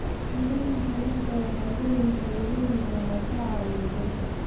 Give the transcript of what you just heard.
Mirooyinka liinta waxay leeyihiin fitamiino badan oo ka caawiya jidhka.